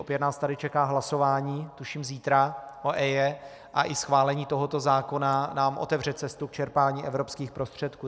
Opět nás tady čeká hlasování, tuším zítra, o EIA, a i schválení tohoto zákona nám otevře cestu k čerpání evropských prostředků.